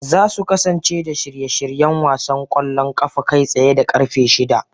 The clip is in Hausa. Za su kasance da shirye-shiryen wasan kwallon kafa kai tsaye da karfe shida